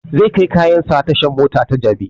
Zai kai kayan sa tashan mota ta jabi